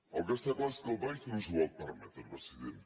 el que està clar és que el país no s’ho pot permetre president